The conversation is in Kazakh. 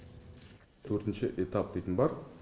төртінші этап дейтін бар